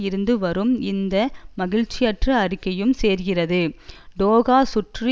இருந்து வரும் இந்த மகிழ்ச்சியற்ற அறிக்கையும் சேர்கிறது டோஹா சுற்று